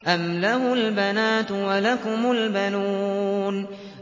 أَمْ لَهُ الْبَنَاتُ وَلَكُمُ الْبَنُونَ